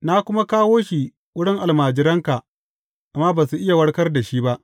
Na kuma kawo shi wurin almajiranka, amma ba su iya warkar da shi ba.